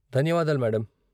ధన్యవాదాలు, మేడం.